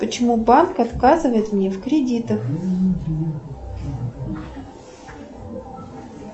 почему банк отказывает мне в кредитах